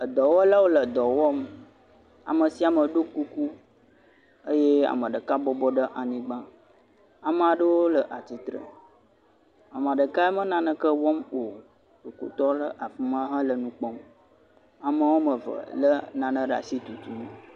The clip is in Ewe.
edɔwɔlawo le dɔwɔm, amesiame ɖó kuku eye ameɖeka bɔbɔ ɖe anyigbã amaɖewo le atsitre ameɖekaya mele naneke wɔm o ɖoko tɔ ɖe afima hele nu kpɔm ame wɔmeve le nane ɖe asi le tutum